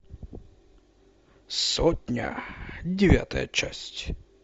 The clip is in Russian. сотня девятая часть